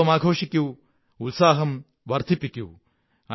ഉത്സവമാഘോഷിക്കൂ ഉത്സാഹം വര്ധി്പ്പിക്കൂ